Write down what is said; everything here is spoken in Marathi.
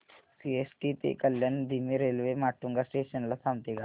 सीएसटी ते कल्याण धीमी रेल्वे माटुंगा स्टेशन ला थांबते का